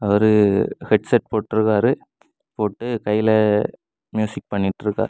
ஒரு ஹெட்செட் போட்டுருக்காரு போட்டு கைல மியூசிக் பண்ணிட்டு இருக்கார்.